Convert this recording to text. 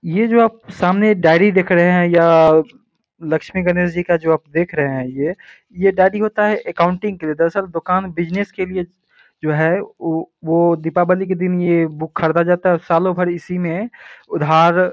ये जो आप सामने डायरी देख रहे हैं यह लक्ष्मी गणेश जी का जो आप देख रहे हैं ये ये डायरी होता है अकाउंटिंग के लिए दरअसल दोकान बिज़नेस के लिए जो है वो वो दीपावली के दिन ये बुक खरदा जाता है और सालों भर इसी में उधार --